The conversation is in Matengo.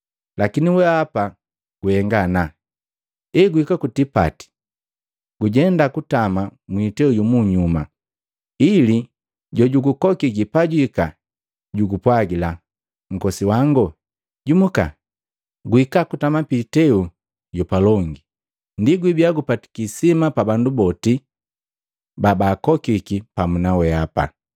Lakini weapa guhenga ana eguhika ku kutipati, gujenda gukatama mwiteu yumunyuma, ili jo jugukokiki pajwiika jugupwagila, ‘Nkosi wango, jumuka, guhika gutama piiteu yapalongi.’ Ndi wibiya gupatiki isima pa bandu boti babaakokiki pamu na weapa.